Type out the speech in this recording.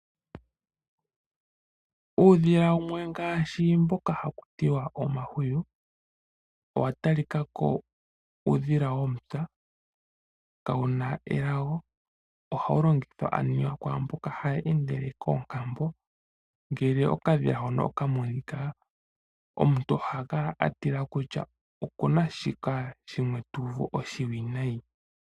Uudhila wumwe ngaashi mboka haku tiwa omahwiyu owa talika ko uudhila womupya, kawuna elago. Ohawu longithwa aniwa kwaamboka haya endele koonkambo. Ngele okadhila hono oka monika, omuntu oha kala a tila kutya okuna shika shimwe tu uvu oshiwinayi.